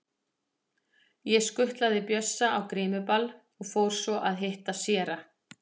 Ég skutlaði Bjössa á grímuball og fór svo að hitta séra